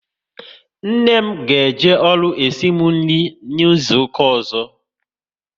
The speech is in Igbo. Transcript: Nne m ga eje ọrụ esimu nri n'izuka ọzọ